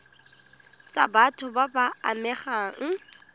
tsa batho ba ba amegang